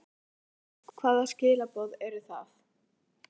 Höskuldur: Hvaða skilaboð eru það?